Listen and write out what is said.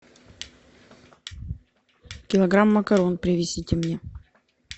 килограмм макарон привезите мне